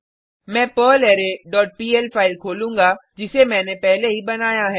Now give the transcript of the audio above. मैं पर्लरे dot PL file खोलूँगा जिसे मैने पहले ही बनाया है